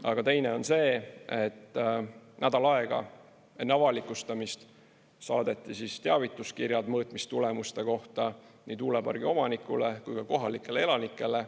Aga teine on see, et nädal aega enne avalikustamist saadeti teavituskirjad mõõtmistulemuste kohta nii tuulepargi omanikule kui ka kohalikele elanikele.